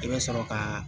I bɛ sɔrɔ ka